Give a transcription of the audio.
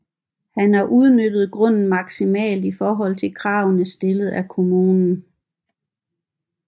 Han har udnyttet grunden maksimalt i forhold til kravene stillet af kommunen